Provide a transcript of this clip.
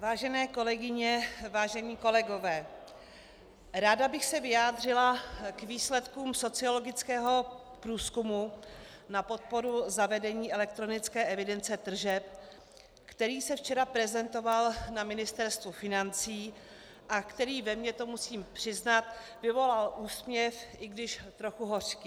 Vážené kolegyně, vážení kolegové, ráda bych se vyjádřila k výsledkům sociologického průzkumu na podporu zavedení elektronické evidence tržeb, který se včera prezentoval na Ministerstvu financí a který ve mně, to musím přiznat, vyvolal úsměv, i když trochu hořký.